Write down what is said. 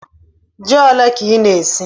Jí ólé kà ị na-ésí?